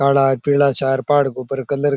काला पीला सा पहाड़ के ऊपर कलर --